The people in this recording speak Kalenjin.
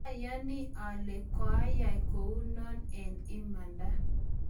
mayani ale koiyai kou noe eng imanda